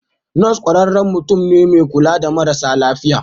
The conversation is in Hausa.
Nurse ƙwararren mutum ne mai kula da marasa lafiya.